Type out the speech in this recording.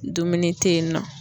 Dumuni tɛ yen nɔ.